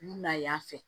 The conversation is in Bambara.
U na y'a fɛ